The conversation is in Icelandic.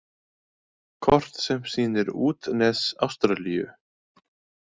Kort sem sýnir útnes Ástralíu.